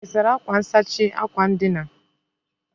Ị́ sara akwa nsachi akwa ndina?